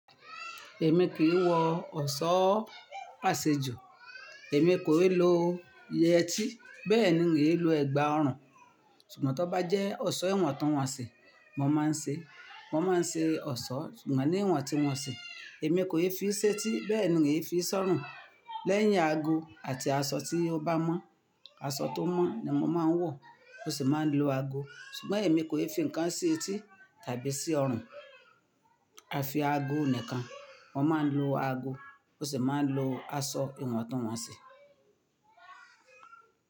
Èmi kìí wọ ọ̀ṣọ́ àṣejù, èmi kò e lo yẹtí, bẹ́ẹ̀ ni n ò lè lo ẹ̀gbà ọrùn. Sùgbọ́n tí ó bá jẹ́ ọ̀ṣọ́ ìwọ̀ntúnwọ̀nsì, mo máa ń ṣe, mo máa ń ṣe ọ̀ṣọ́, ṣùgbọ́n ní ìwọ̀ntúnwọ̀nsì, èmi kò lè fi í séti, bẹ́ẹ̀ ni n kò lè fi í sọ́rùn. Lẹ́yìn aago àti aṣọ tí ó bá mọ́. Aṣọ tó mọ́ ni mo máa ń wọ̀ mo sì máa ń lo ago. Ṣùgbọ́n èmi kò lè fi ǹkan sí etí tàbí sí ọrùn. Afi aago nìkan. Mo máa ń lo ago ó sì máa ń lo aṣọ ìwọ̀ntúnwọ̀nsì.